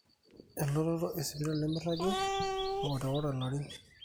elototo esipitali nemeiragi eworiworo ilarin